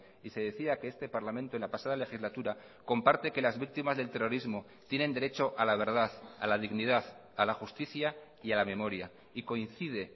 y se decía que este parlamento en la pasada legislatura comparte que las víctimas del terrorismo tienen derecho a la verdad a la dignidad a la justicia y a la memoria y coincide